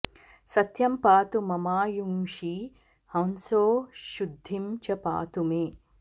सत्यं पातु ममायूंषि हंसो शुद्धिं च पातु मे